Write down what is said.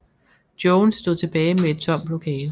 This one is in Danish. Jones stod tilbage med et tomt lokale